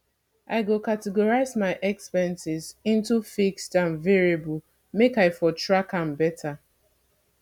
i go categorize my expenses into fixed and variable make i for track am beta